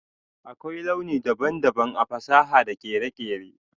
Akwai launi daban-daban a fasaha da kere-kere.